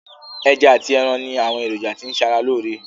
Ẹja ati ẹran ni àwọn èròjà tí n ṣe ara lóore.